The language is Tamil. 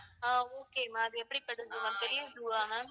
ஆஹ் okay ma'am அது எப்படிப்பட்ட zoo ma'am பெரிய zoo வா ma'am?